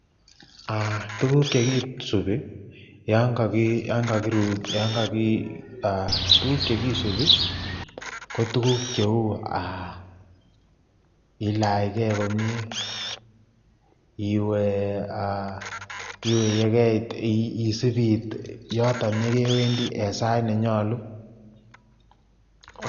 Tukuk chekisibi yoon koki Um, tukuk chekisibi ko tukuk cheuu ilach komie, iwee yekeit isib iit yoton yekewendi en sait nenyolu.